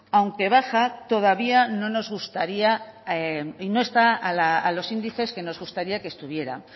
aunque baja todavía no está a los índices a los que nos gustaría que estuviera